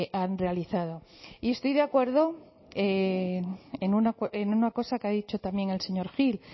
han realizado y estoy de acuerdo en una cosa que ha dicho también el señor gil